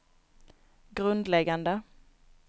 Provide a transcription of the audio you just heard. grundläggande